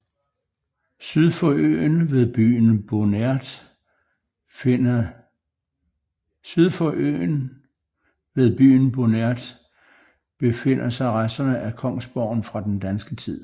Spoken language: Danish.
Syd for øen ved byen Bonert befinder sig resterne af kongsborgen fra den danske tid